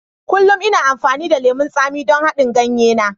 Kullum ina amfani da lemon tsami don haɗin ganye na.